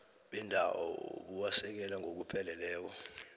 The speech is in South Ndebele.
bendawo buwasekela ngokupheleleko